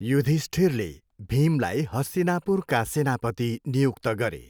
युधिष्ठिरले भीमलाई हस्तिनापुरका सेनापति नियुक्त गरे।